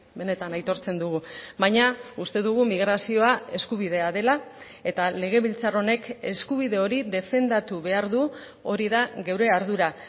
benetan aitortzen dugu baina uste dugu migrazioa eskubidea dela eta legebiltzar honek eskubide hori defendatu behar du hori da gure ardura